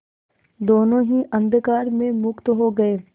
दोेनों ही अंधकार में मुक्त हो गए